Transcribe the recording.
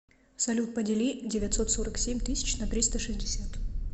салют подели девятьсот сорок семь тысяч на триста шестьдесят